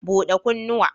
Bude kunnuwa.